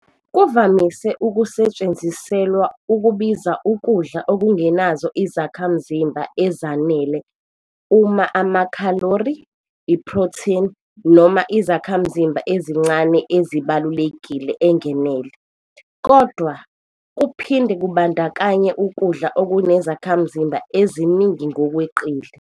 Kuvamise ukusetshenziselwa ukubiza ukudla okungenazo izakhamzimba ezanele uma amakhalori, iphrotheni noma izakhamzimba ezincane ezibalulekile engenele, kodwa, kuphinde kubandakanye ukudla okunezakhamzimba eziningi ngokweqile.